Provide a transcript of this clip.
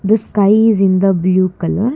the sky is in the blue colour.